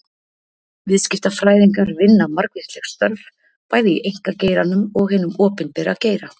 Viðskiptafræðingar vinna margvísleg störf, bæði í einkageiranum og hinum opinbera geira.